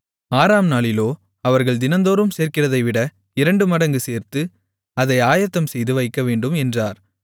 ஆறாம் நாளிலோ அவர்கள் தினந்தோறும் சேர்க்கிறதைவிட இரண்டுமடங்கு சேர்த்து அதை ஆயத்தம்செய்து வைக்கவேண்டும் என்றார்